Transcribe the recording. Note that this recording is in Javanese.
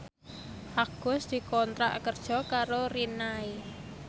Agus dikontrak kerja karo Rinnai